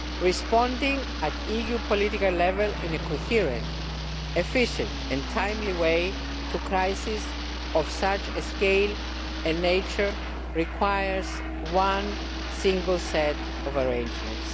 Responding at EU political level in a coherent, efficient and timely way to crises of such a scale and nature requires one single set of arrangements.